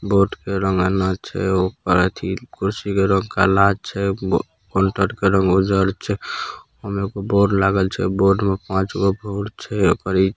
बोर्ड के रंग छे ऊपर अथिल कुर्सी के रंग काला छे बो काउंटर का रंग उजर छे उमेको बोर्ड लागल छे बोर्ड में पाच गो भुद्द छ।